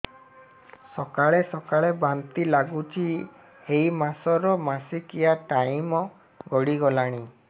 ସକାଳେ ସକାଳେ ବାନ୍ତି ଲାଗୁଚି ଏଇ ମାସ ର ମାସିକିଆ ଟାଇମ ଗଡ଼ି ଗଲାଣି